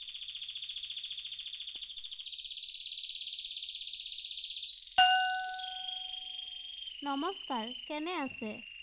নমস্কাৰ, কেনে আছে?